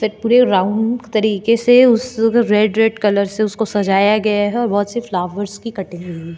पूरे राउंड तरीके से उस रेड रेड कलर से उसको सजाया गया है बहुत से फ्लावर्स की कटिंग हुई हैं।